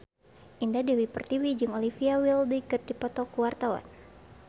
Indah Dewi Pertiwi jeung Olivia Wilde keur dipoto ku wartawan